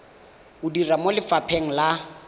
o dira mo lefapheng la